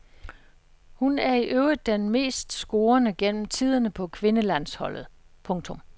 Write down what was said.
Hun er i øvrigt den mest scorende gennem tiderne på kvindelandsholdet. punktum